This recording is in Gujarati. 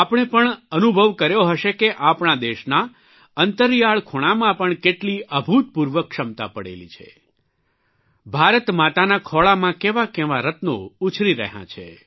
આપણે પણ અનુભવ કર્યો હશે કે આપણા દેશના અંતરિયાળ ખૂણામાં પણ કેટલી અભૂતપૂર્વ ક્ષમતા પડેલી છે ભારત માતાના ખોળામાં કેવાં કેવાં રત્નો ઉછરી રહ્યાં છે